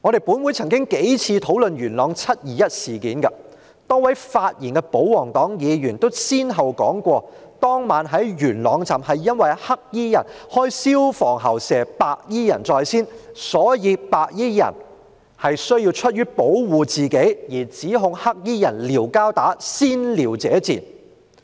本會曾多次討論元朗"七二一"事件，多位發言的保皇黨議員也先後提到，當晚在元朗站，黑衣人開消防喉噴射白衣人在先，所以白衣人出於保護自己而指控黑衣人"撩交打"，先撩者賤。